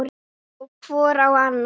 Og hvor á annan.